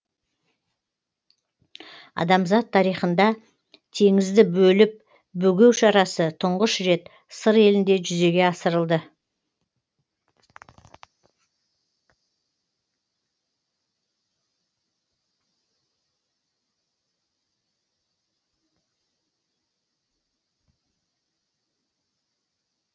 адамзат тарихында теңізді бөліп бөгеу шарасы тұңғыш рет сыр елінде жүзеге асырылды